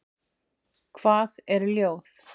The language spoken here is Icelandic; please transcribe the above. Hvað er ljóð?